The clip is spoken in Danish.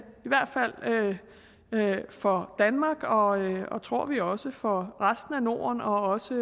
hvert fald for danmark og tror vi også for resten af norden og også